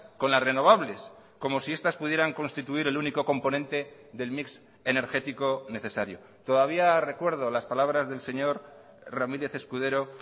con las renovables como si estas pudieran constituir el único componente del mix energético necesario todavía recuerdo las palabras del señor ramírez escudero